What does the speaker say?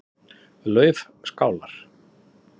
Laufskálar